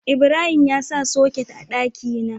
Ibrahim ya sa soket a daki na